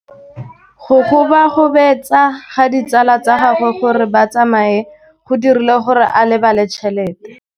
Go gobagobetsa ga ditsala tsa gagwe, gore ba tsamaye go dirile gore a lebale tšhelete.